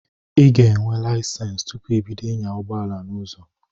I ga enwe layisensi tụpụ ibido ịnya ụgbọala n'ụzọ